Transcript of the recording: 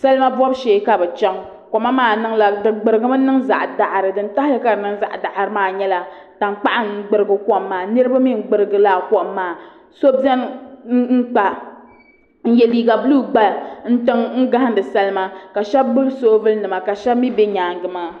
Salima bobu shee ka bi chɛŋ koma maa gburigimi niŋ zaŋ daɣari din tahali ka di niŋ zaɣ daɣari maa nyɛla tankpaɣu n gbirigi kom maa ni niraba mii n gbirigi laa kom maa so biɛni n yɛ liiga buluu gba tiŋ n gahandi salima ka shab gbubi soobuli nima ka shab mii bɛ nyaangi maa